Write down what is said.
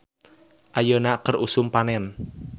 "Ayeuna keur usum panen "